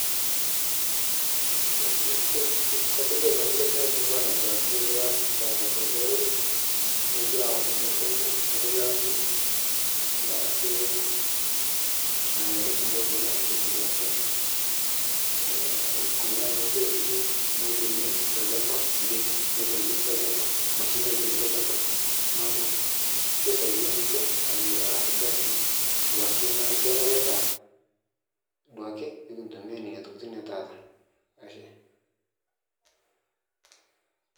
kalo taa atoduaki eniasita olorere atum edaiki enye tenkaraki olamei duake netum iltung'ana atoduaki Kuna tokitin naaji weeds tolchamba neeku kisaidia ninche aas orkasi naa kenare duake nikintumia Nena tokitin ee taata